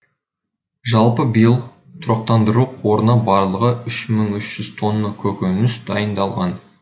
жалпы биыл тұрақтандыру қорына барлығы үш мың үш жүз тонна көкөніс дайындалған